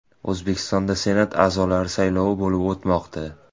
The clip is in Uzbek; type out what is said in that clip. O‘zbekistonda Senat a’zolari saylovi bo‘lib o‘tmoqda.